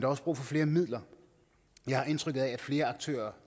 også brug for flere midler jeg har indtryk af at flere aktører